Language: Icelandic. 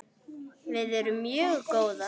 Við erum mjög góðar.